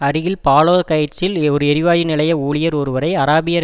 அருகில் பாலோ கைட்ஸில் ஒரு எரி வாயு நிலைய ஊழியர் ஒருவரை அராபியர்